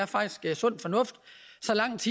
faktisk er sund fornuft